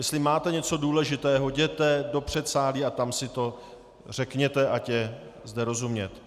Jestli máte něco důležitého, jděte do předsálí a tam si to řekněte, ať je zde rozumět.